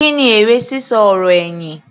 Kí ni èrè sísọ ọ̀rọ̀ ẹ̀yìn?